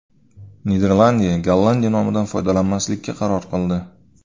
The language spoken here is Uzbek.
Niderlandiya Gollandiya nomidan foydalanmaslikka qaror qildi.